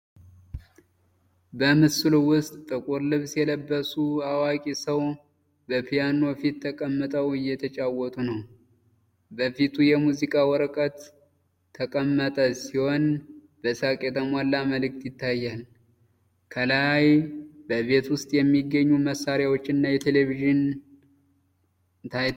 በምስሉ ውስጥ ጥቁር ልብስ የለበሱ አዋቂ ሰው በፒያኖ ፊት ተቀምጠዉ እየተጫወቱ ነው። በፊቱ የሙዚቃ ወረቀት ተቀመጠ ሲሆን በሳቅ የተሞላ መልክ ይታያል። ከኋላ በቤት ውስጥ የሚገኙ መሳሪያዎች እና ቴሌቪዥን ታይተዋል።